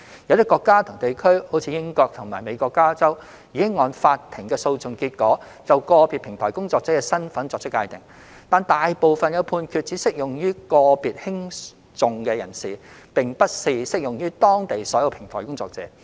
有些國家及地區如英國及美國加州，已按法庭的訴訟結果，就個別平台工作者的身份作出界定；但大部分判決只適用於個別興訟人士，並不是適用於當地所有平台工作者。